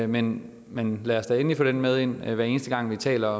men men lad os da endelig få den med ind hver eneste gang vi taler